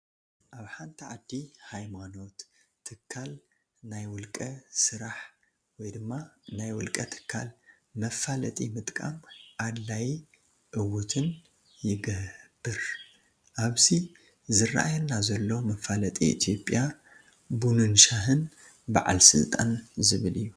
ኣብ ሓንቲ ዓዲ፣ ሃይማኖት፣ ትካል፣ ናይ ውልቀ ስራሕ(ናይ ውልቀ ትካል) መፈላጢ ምጥቃም ኣድላይ ዕውትን ይገር፣ ኣብዚ ዝረኣየና ዘሎ መፋለጢ ኢትዮጰያ ቡንንሻይን በዓል ስልጣን ዝብል እዩ።